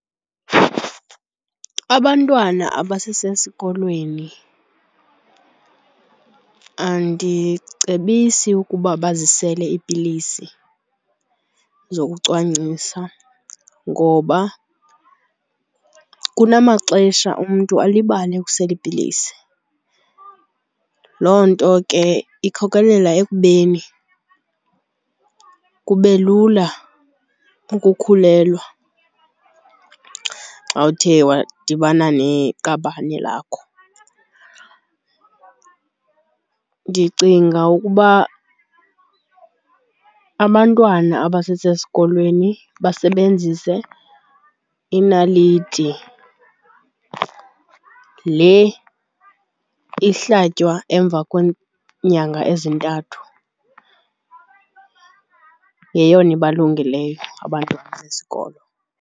Abantwana abasesesikolweni andicebisi ukuba bazisele iipilisi zokucwangcisa ngoba kunamaxesha umntu alibale ukusela iipilisi. Loo nto ke ikhokelela ekubeni kube lula ukukhulelwa xa uthe wadibana neqabane lakho. Ndicinga ukuba abantwana abasesesikolweni basebenzise inaliti le ihlatywa emva kweenyanga ezintathu, yeyona ibalungeleyo abantwana besikolo.